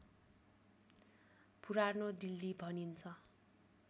पुरानो दिल्ली भनिन्छ